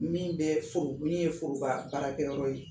Min bɛ foro min ye foroba baarakɛyɔrɔ ye